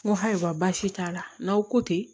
N ko ayiwa basi t'a la n'aw ko ten